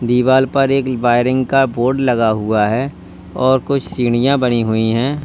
दीवाल पर एक वायरिंग का बोर्ड लगा हुआ है और कुछ सीढ़ियां बनी हुई हैं।